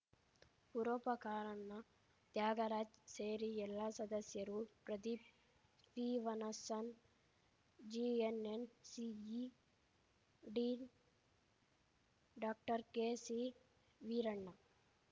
ಪುರೋಪಕಾರನ್ನ ತ್ಯಾಗರಾಜ್‌ ಸೇರಿ ಎಲ್ಲ ಸದಸ್ಯರು ಪ್ರದೀಪ್‌ ಸ್ಟೀವನ್ಸನ್‌ ಜಿಎನ್‌ಎನ್‌ಸಿಇ ಡೀನ್‌ ಡಾಕ್ಟರ್ಕೆಸಿವೀರಣ್ಣ